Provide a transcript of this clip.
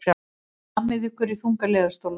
Hlammið ykkur í þunga leðurstóla.